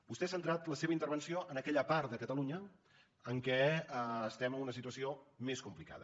vostè ha centrat la seva intervenció en aquella part de catalunya en què estem en una situació més complicada